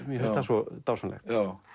mér finnst það svo dásamlegt